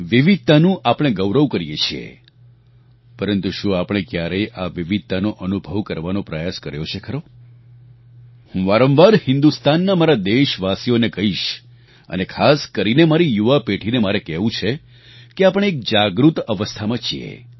વિવિધતાનું આપણે ગૌરવ કરીએ છીએ પરંતુ શું આપણે ક્યારેય આ વિવિધતાનો અનુભવ કરવાનો પ્રયાસ કર્યો છે ખરો હું વારંવાર હિન્દુસ્તાનના મારા દેશવાસીઓને કહીશ અને ખાસ કરીને મારી યુવા પેઢીને મારે કહેવું છે કે આપણે એક જાગૃત અવસ્થામાં છીએ